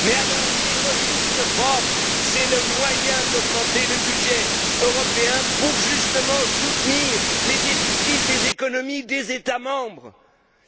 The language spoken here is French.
Mais les ressources propres sont le moyen d'augmenter le budget européen pour justement soutenir les déficits des économies des États membres.